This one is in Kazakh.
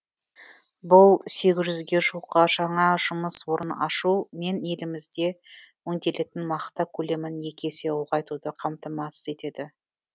бұл сегіз жүзге жуық жаңа жұмыс орнын ашу мен елімізде өңделетін мақта көлемін екі есе ұлғайтуды қамтамасыз етеді